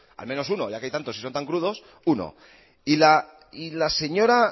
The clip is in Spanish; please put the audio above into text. al menos uno ya que hay tantos y son tan crudos uno y la señora